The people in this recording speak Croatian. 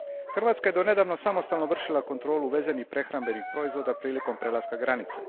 Hrvatska je do nedavno samostalno vršila kontrolu uvezenih prehrambenih proizvoda prilikom prelaska granice.